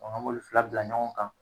An b'olu fila bila ɲɔgɔn kan.